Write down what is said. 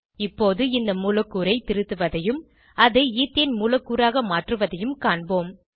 இப்போது இந்த மூலக்கூறை திருத்துவதையும் அதை ஈத்தேன் மூலக்கூறாக மாற்றுவதையும் காண்போம்